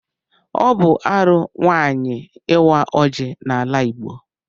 Ọ bụ arụ nwaanyị ịwa ọjị n'ala Igbo.